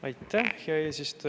Aitäh, hea eesistuja!